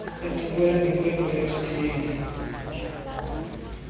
encokola nenkwenkwe yomthembu